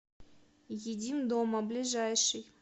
едим дома ближайший